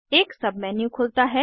एक सबमेन्यू खुलता है